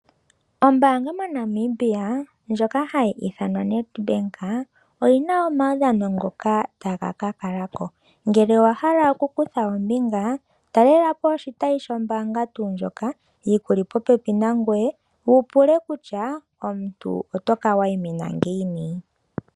Ombanga mo Namibia ndjoka hayi ithanwa Nedbank oyina omawudhano ngoka taga kakalako ngele owa hala oku kutha ombinga ta lelapo oshitayi shombaanga tuu ndjoka yi kuli popepi nangoye wu pule kutya omuntu otoka wa yi mina ngiini.